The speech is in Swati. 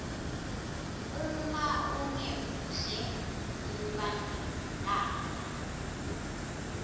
uma ungemuhle kuba nenkala